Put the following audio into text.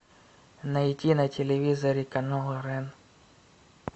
найти на телевизоре канал рен